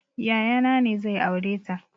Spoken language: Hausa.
Yaya na ne zai aureta